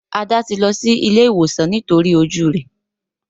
Ada ti ló sí ìlé ìwòsan nítorí ojú rẹ.